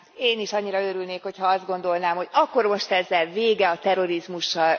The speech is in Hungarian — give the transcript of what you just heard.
Én is annyira örülnék, hogyha azt gondolnám, hogy akkor most ezzel vége a terrorizmusnak.